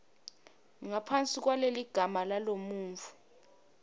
ngaphansi kwaleligama lalomuntfu